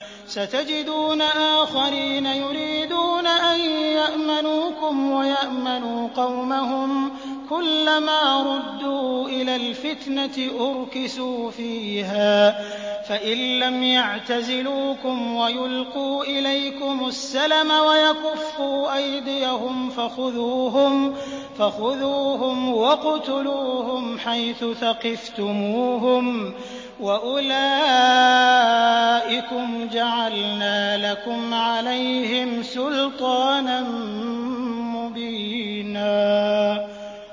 سَتَجِدُونَ آخَرِينَ يُرِيدُونَ أَن يَأْمَنُوكُمْ وَيَأْمَنُوا قَوْمَهُمْ كُلَّ مَا رُدُّوا إِلَى الْفِتْنَةِ أُرْكِسُوا فِيهَا ۚ فَإِن لَّمْ يَعْتَزِلُوكُمْ وَيُلْقُوا إِلَيْكُمُ السَّلَمَ وَيَكُفُّوا أَيْدِيَهُمْ فَخُذُوهُمْ وَاقْتُلُوهُمْ حَيْثُ ثَقِفْتُمُوهُمْ ۚ وَأُولَٰئِكُمْ جَعَلْنَا لَكُمْ عَلَيْهِمْ سُلْطَانًا مُّبِينًا